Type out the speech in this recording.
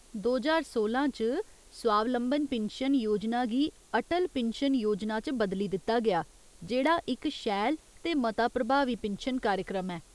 दो ज्हार सोलां च, स्वावलंबन पिन्शन योजना गी अटल पिन्शन योजना च बदली दित्ता गेआ, जेह्ड़ा इक शैल ते मता प्रभावी पिन्शन कार्यक्रम ऐ।